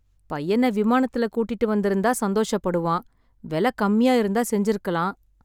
பையன விமானத்துல கூட்டிட்டு வந்துருந்தா சந்தோஷப் படுவான். வெல கம்மியா இருந்தா செஞ்சுருக்கலாம்.